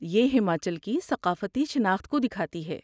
یہ ہماچل کی ثقافتی شاخت کو دکھاتی ہے۔